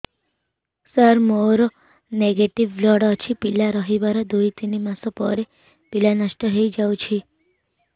ସାର ମୋର negative blood ଅଛି ପିଲା ରହିବାର ଦୁଇ ତିନି ମାସ ପରେ ପିଲା ନଷ୍ଟ ହେଇ ଯାଉଛି